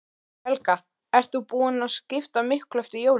Helga: Ert þú búin að skipta miklu eftir jólin?